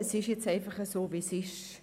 Es ist jetzt einfach so, wie es ist.